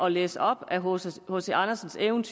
læse op af hc andersen taget ud